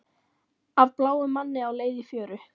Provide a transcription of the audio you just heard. Af bláum manni á leið í fjöru